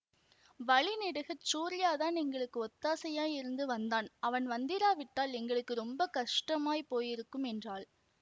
வழி நெடுகச் சூரியாதான் எங்களுக்கு ஒத்தாசையாயிருந்து வந்தான் அவன் வந்திராவிட்டால் எங்களுக்கு ரொம்ப கஷ்டமாய்ப் போயிருக்கும் என்றாள்